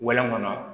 Wɛlɛ kɔnɔ